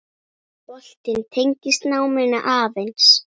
Boltinn tengist náminu aðeins.